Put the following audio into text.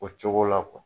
O cogo la